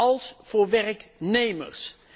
als voor werknemers.